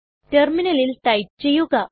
ടെർമിനലിൽ ടൈപ്പ് ചെയ്യുക